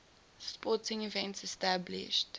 sporting events established